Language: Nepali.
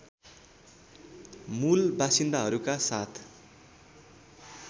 मूल बासिन्दाहरूका साथ